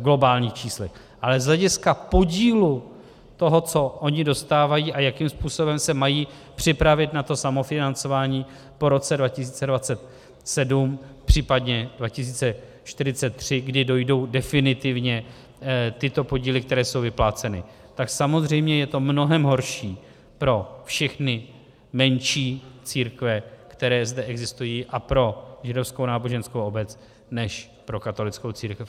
globálních číslech, ale z hlediska podílu toho, co ony odstávají a jakým způsobem se mají připravit na to samofinancování po roce 2027, případně 2043, kdy dojdou definitivně tyto podíly, které jsou vypláceny, tak samozřejmě je to mnohem horší pro všechny menší církve, které zde existují, a pro Židovskou náboženskou obec než pro katolickou církev.